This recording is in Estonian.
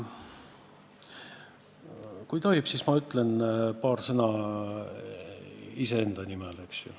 Kui tohib, siis ma ütlen paar sõna iseenda nimel.